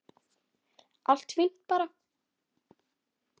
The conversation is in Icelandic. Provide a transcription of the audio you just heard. Allt fínt bara.